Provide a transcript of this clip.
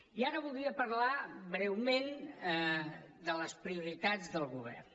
i ara voldria parlar breument de les prioritats del govern